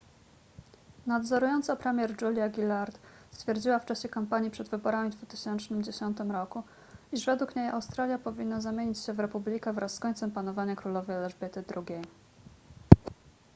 nadzorująca premier julia gillard stwierdziła w czasie kampanii przed wyborami w 2010 roku iż według niej australia powinna zamienić się w republikę wraz z końcem panowania królowej elżbiety ii